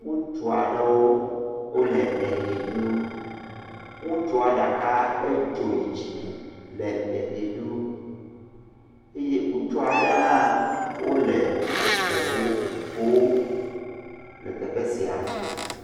ŋutuaɖewo wolɛ ehɛ ɖum wutsua ɖaka edzò yi dzime lɛ ehi ɖum eyi wutsuaɖe hã wóle eʋu ƒoó le teƒe sia